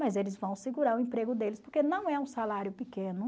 Mas eles vão segurar o emprego deles, porque não é um salário pequeno.